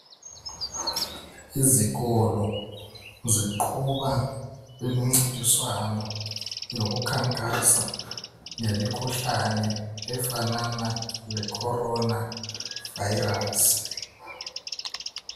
Izikolo ziqhuba imincintiswano yokukhankasa ngemikhuhlane efanana lecorona virus.